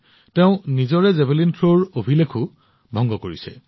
বৰঞ্চ তেওঁ নিজৰ জেভেলিন থ্ৰো ৰেকৰ্ডো ভংগ কৰিছে